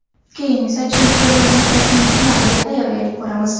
Keyin esa Chempionlar ligasining finaliga tayyorgarlik ko‘ramiz.